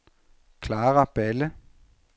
Clara Balle